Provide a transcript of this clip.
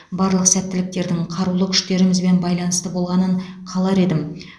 барлық сәттіліктердің қарулы күштерімізбен байланысты болғанын қалар едім